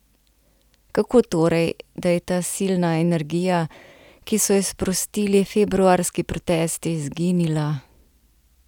Kako torej, da je ta silna energija, ki so jo sprostili februarski protesti, izginila?